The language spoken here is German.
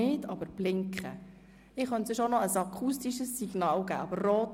Wir sprechen über den gesamten Artikel 31b (neu).